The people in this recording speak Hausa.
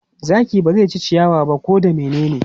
Zaki ba zai ci ciyawa ba ko da menene.